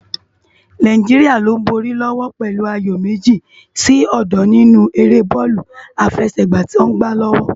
Náijiriá ló n bóri lòwò pèlú àyó mèji si ódó ninú éré bòlú àfèsègbá tò n gbá lòwò